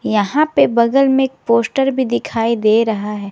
यहां पे बगल में एक पोस्टर भी दिखाई दे रहा है।